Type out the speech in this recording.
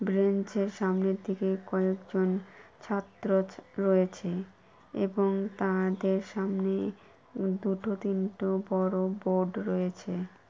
Bench - এর সামনের দিকে কয়েকজন ছাত্র রয়েছে এবং তাদের সামনে দুটো তিনটে ও বড় বোর্ড রয়েছে ।